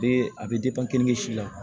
Bee a be depan kenige si la